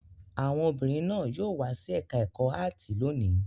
Àwọn obìnrin náà yóò wá sí ẹ̀ka-ẹ̀kọ́ áátì lónìí.